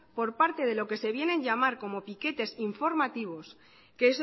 por parte de lo que se viene a llamar como piquetes informativos que